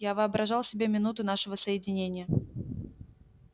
я воображал себе минуту нашего соединения